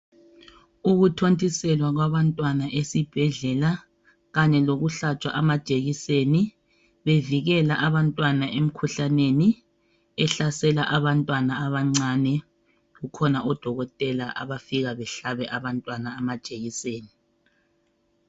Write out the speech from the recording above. Ukuthontiselwa kwabantwana esibhedlela kanye lokuhlatshwa amajekiseni bevikela abantwana emkhuhlaneni ehlasela abantwana abancane kukhona odokotela abafika behlabe abantwana amajekiseni.